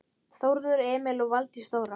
Þórður Emil og Valdís Þóra.